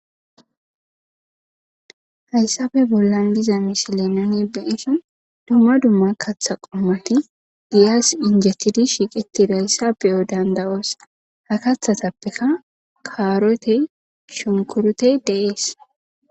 Haysappe bolan diza misile nuni be7ishin dumma dumma kaththa qommoti giyas injetidi shiqetidaysa be7o danda7os.ha kaththatappeka karotey,shunkuritey de7es.